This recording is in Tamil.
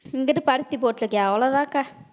இங்கிட்டு பருத்தி போட்டிருக்கேன் அவ்வளவுதான் அக்கா